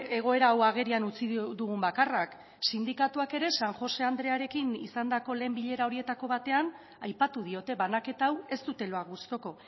egoera hau agerian utzi dugun bakarrak sindikatuak ere san josé andrearekin izandako lehen bilera horietako batean aipatu diote banaketa hau ez dutela gustuko